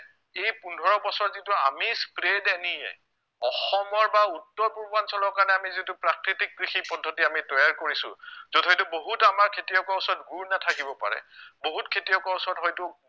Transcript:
এই পোন্ধৰ বছৰত যিটো আমি spread NE এ অসমৰ বা উত্তৰ পূৰ্বাঞ্চলৰ কাৰণে আমি যিটো প্ৰাকৃতিক কৃষি পদ্ধতি আমি তৈয়াৰ কৰিছো য'ত হয়তো বহুত আমাৰ খেতিয়কৰ ওচৰত গুৰ নাথাকিব পাৰে বহুত খেতিয়কৰ ওচৰত হয়তো